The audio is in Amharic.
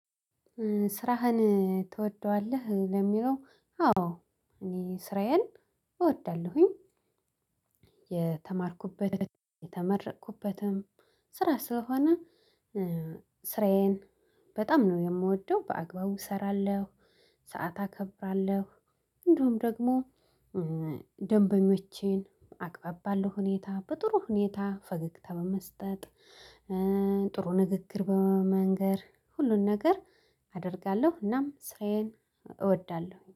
ስራህን ትወደዋለህ? ለሚለው አዎ እኔ ስራዬን እወዳለሁኝ። የተማርኩበት የተመረቅኩበትም ስራ ስለሆነ። ስራዬን በጣም ነው የምወደው በአግባቡ እሰራለሁ ሰዓት አከብራለሁ። እንድሁም ደግሞ ደንበኞቼን አግባብ ባለው ሁኔታ በጥሩ ሁኔታ ፈገግታ በመስጠት። ጥሩ ንግግር በመንገር ሁሉን ነገር አደርጋለሁ። እናም ስራዬን እወዳለሁ